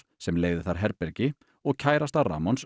sem leigði þar herbergi og kærasta